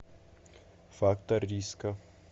фактор риска